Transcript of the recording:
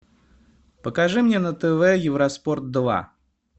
покажи мне на тв евроспорт два